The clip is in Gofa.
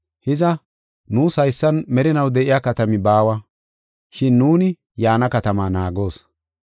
Hiza, nuus haysan merinaw de7iya katami baawa, shin nuuni yaana katamaa naagoos.